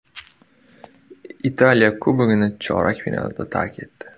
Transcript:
Italiya Kubogini chorak finalda tark etdi.